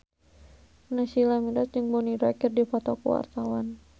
Naysila Mirdad jeung Bonnie Wright keur dipoto ku wartawan